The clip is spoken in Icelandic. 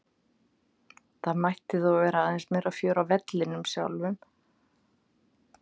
Það mætti þó vera aðeins meira fjör á vellinum sjálfum.